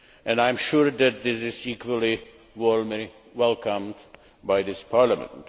I am sure that it is equally warmly welcomed by this Parliament.